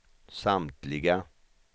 samtliga